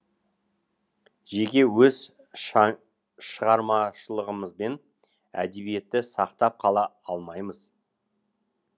жеке өз шығармашылығымызбен әдебиетті сақтап қала алмаймыз